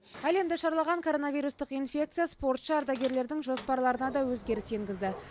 әлемді шарлаған коронавирустық инфекция спортшы ардагерлердің жоспарларына да өзгеріс енгізді